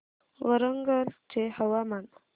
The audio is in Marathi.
वरंगल चे हवामान